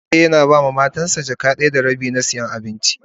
Suke yana ba ma Matan sa jaka biyu da rabi na siyan abinci.